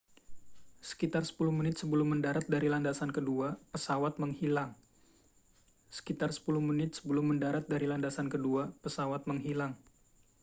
sekitar 10 menit sebelum mendarat dari landasan kedua pesawat menghilang